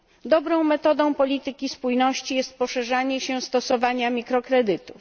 Dobrą metodą polityki spójności jest upowszechnianie się stosowania mikrokredytów.